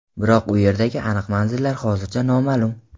Biroq u yerdagi aniq manzillar hozircha noma’lum.